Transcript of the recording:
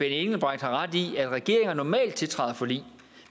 engelbrecht har ret i at regeringer normalt tiltræder forlig